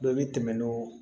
Dɔ bɛ tɛmɛ n'o